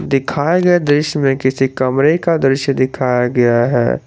दिखाई गए दृश्य में किसी कमरे का दिखाया गया है।